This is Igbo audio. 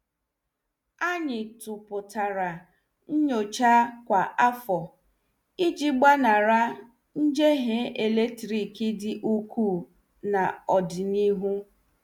Anyị tuputara nnyochakwa afọ, iji gbanari njehie eletrik dị ukwuu n' ọdịnihu.